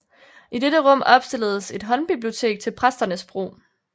I dette rum opstilledes et håndbibliotek til præsternes brug